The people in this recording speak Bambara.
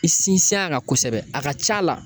I sinsin a kan kosɛbɛ a ka c'a la